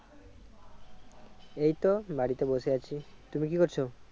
এইতো বাড়িতে বসে আছি। তুমি কি করছো?